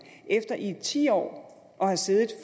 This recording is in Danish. efter i et tiår at have siddet